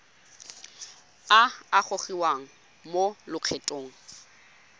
a a gogiwang mo lokgethong